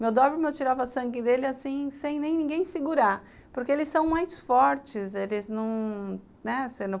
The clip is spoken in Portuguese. Meu dóbrio, eu tirava sangue dele assim, sem nem ninguém segurar, porque eles são mais fortes, eles não... né?